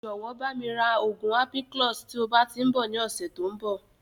Jọ̀wọ́ bami ra oògùn ampiclox" tí ó bá tíì ń bọ̀ ni ọ̀sẹ̀ tòun bọ̀